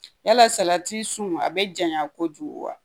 Yala salati sun a be janya kojugu wa?